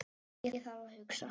Ég þarf að hugsa.